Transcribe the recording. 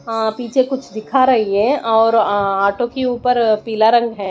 अ पीछे कुछ दिखा रही है और अ ऑटो के ऊपर पीला रंग है।